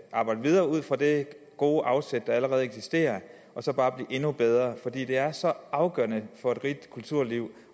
arbejde videre ud fra det gode afsæt der allerede eksisterer og så bare blive endnu bedre for det er så afgørende for et rigt kulturliv